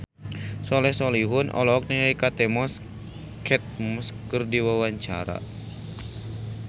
Soleh Solihun olohok ningali Kate Moss keur diwawancara